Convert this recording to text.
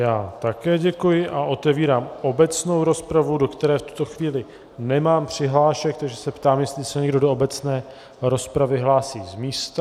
Já také děkuji a otevírám obecnou rozpravu, do které v tuto chvíli nemám přihlášky, takže se ptám, jestli se někdo do obecné rozpravy hlásí z místa.